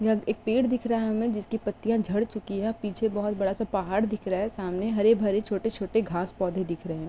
यह एक पेड़ दिख रहा है हमें जिसकी पत्तियां झड़ चुकी है और पीछे बहुत बड़ा सा पहाड़ दिख रहा है। सामने हर भरे छोटे छोटे घास पौधे दिख रहे हैं।